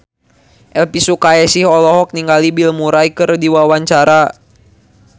Elvy Sukaesih olohok ningali Bill Murray keur diwawancara